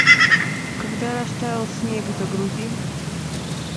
когда растаял снег загрузи